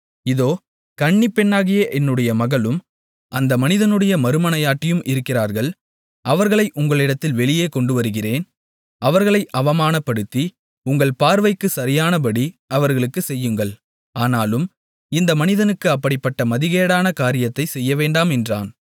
இதோ கன்னிப்பெண்ணாகிய என்னுடைய மகளும் அந்த மனிதனுடைய மறுமனையாட்டியும் இருக்கிறார்கள் அவர்களை உங்களிடத்தில் வெளியே கொண்டுவருகிறேன் அவர்களை அவமானப்படுத்தி உங்கள் பார்வைக்குச் சரியானபடி அவர்களுக்குச் செய்யுங்கள் ஆனாலும் இந்த மனிதனுக்கு அப்படிப்பட்ட மதிகேடான காரியத்தைச் செய்யவேண்டாம் என்றான்